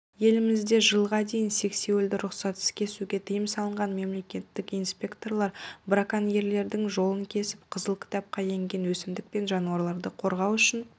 елімізде жылға дейін сексеуілді рұқсатсыз кесуге тыйым салынған мемлекеттік инспекторлар броконьерлердің жолын кесіп қызыл кітапқа енген өсімдік пен жануарларды қорғау үшін